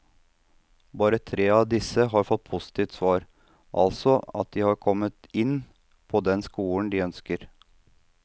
Bare tre av disse har fått positivt svar, altså at de har kommet inn på den skolen de ønsker.